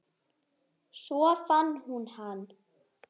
Svo fann hún hann.